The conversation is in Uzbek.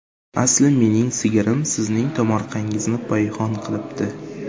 Asli mening sigirim sizning tomorqangizni payhon qilibdi.